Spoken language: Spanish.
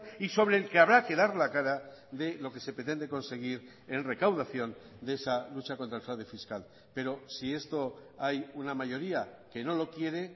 y sobre el que habrá que dar la cara de lo que se pretende conseguir en recaudación de esa lucha contra el fraude fiscal pero si esto hay una mayoría que no lo quiere